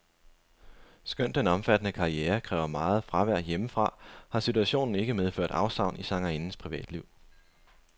Skønt den omfattende karriere kræver meget fravær hjemmefra, har situationen ikke medført afsavn i sangerindens privatliv.